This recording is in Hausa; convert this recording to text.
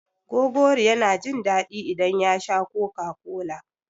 Gogori yana jin daɗi idan ya sha Coca-Cola.